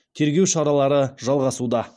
тергеу шаралары жалғасуда